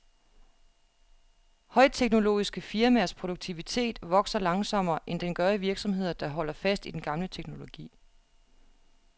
Højteknologiske firmaers produktivitet vokser langsommere, end den gør i virksomheder, der holder fast i den gamle teknologi.